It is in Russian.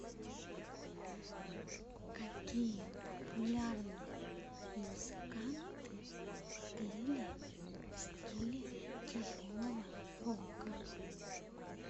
какие популярные музыканты пели в стиле тяжелого рока